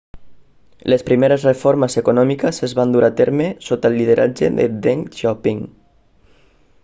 les primeres reformes econòmiques es van dur a terme sota el lideratge de deng xiaoping